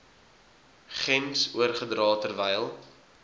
gems oorgedra terwyl